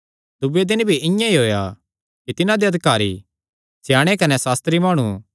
दूये दिने भी इआं ई होएया कि तिन्हां दे अधिकारी स्याणे कने सास्त्री माणु